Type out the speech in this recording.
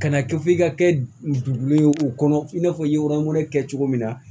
Kana kɛ f'i ka kɛ dugu ye u kɔnɔ i n'a fɔ i ye ɔnɔni kɛ cogo min na